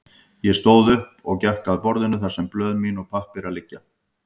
Ég stóð upp, gekk að borðinu þar sem blöð mín og pappírar liggja.